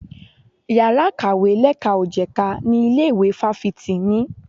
Yàrá ìkàwé lẹ́ka ò jẹ̀ka ni ilé ìwé fáfitì ní.